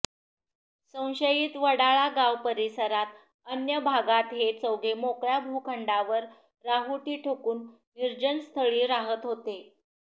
संशयित वडाळागाव परिसरात अन्य भागात हे चौघे मोकळ्या भुखंडांवर राहुटी ठोकून निर्जनस्थळी राहत होते